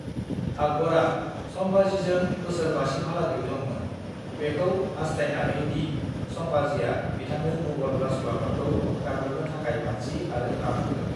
"आकबरआ संभाजीजों बोसोरबासिमहालागै दंमोन, बेखौ हास्थायनानैदि संभाजीआ बिथांनो मुगल राजउलाफातखौ गाग्लोबनो थाखाय मानसि आरो रां होगोन।"